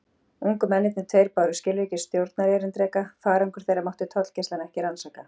Ungu mennirnir tveir báru skilríki stjórnarerindreka: farangur þeirra mátti tollgæslan ekki rannsaka.